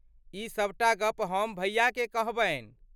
ई सभटा गप्प हम भैयाकेँ कहबनि।